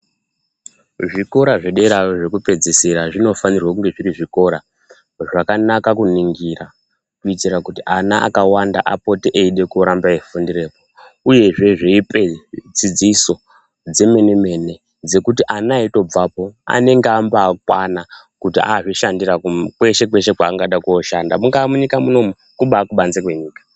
Zvikora zvedera zvekupedzesera zvinofanirwa kunge zviri zvikora zvakanaka kuningira. Kuitira kuti ana akawanda apote eida kuramba eifundirapo. Uye veipa dzidzisa yemene mene dzekuti ana eimbabvapo anenge akakwana kweshe kweshe kwaangada koshanda. Mungaa munyika munomu. Kungaa kubanze kwenyika.